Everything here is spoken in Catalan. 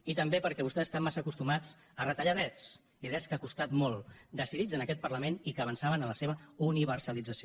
i també perquè vostès estan massa acostumats a retallar drets i drets que han costat molt decidits en aquest parlament i que avançaven en la seva universalització